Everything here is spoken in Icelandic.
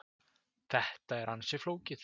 Þetta er ansi flókið.